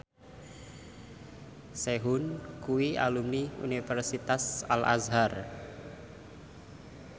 Sehun kuwi alumni Universitas Al Azhar